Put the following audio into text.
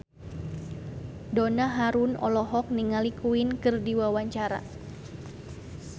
Donna Harun olohok ningali Queen keur diwawancara